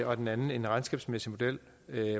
og den anden er en regnskabsmæssig model